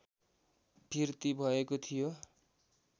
फिर्ती भएको थियो